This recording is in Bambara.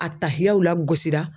A tahiyaw lagosira.